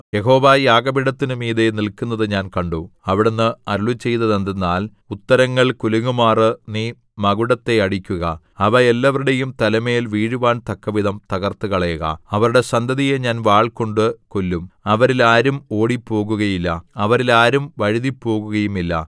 യഹോവ യാഗപീഠത്തിനു മീതെ നില്ക്കുന്നത് ഞാൻ കണ്ടു അവിടുന്ന് അരുളിച്ചെയ്തതെന്തെന്നാൽ ഉത്തരങ്ങൾ കുലുങ്ങുമാറ് നീ മകുടത്തെ അടിക്കുക അവ എല്ലാവരുടെയും തലമേൽ വീഴുവാൻ തക്കവിധം തകർത്തുകളയുക അവരുടെ സന്തതിയെ ഞാൻ വാൾകൊണ്ട് കൊല്ലും അവരിൽ ആരും ഓടിപ്പോകുകയില്ല അവരിൽ ആരും വഴുതിപ്പോകുകയുമില്ല